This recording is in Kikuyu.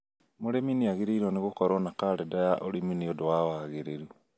Mũrĩmi nĩagĩrĩirwo nĩ gũkorwo na karenda ya ũrĩmi nĩũndũ wa wagĩrĩru